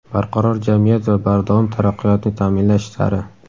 Barqaror jamiyat va bardavom taraqqiyotni taʼminlash sari.